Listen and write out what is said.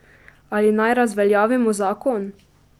Ali naj razveljavimo zakon?